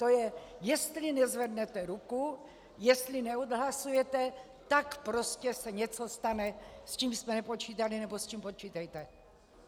To je, jestli nezvednete ruku, jestli neodhlasujete, tak prostě se něco stane, s čím jsme nepočítali, nebo s čím počítejte.